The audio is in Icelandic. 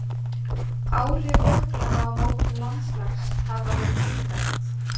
Áhrif jöklanna á mótun landslags hafa verið tvíþætt.